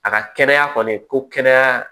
A ka kɛnɛya kɔni ko kɛnɛya